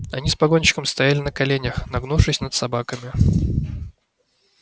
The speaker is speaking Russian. они с погонщиком стояли на коленях нагнувшись над собаками